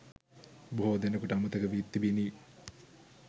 බොහෝ දෙනෙකුට අමතක වී තිබිණි.